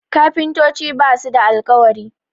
kafintoci ba su da alkawari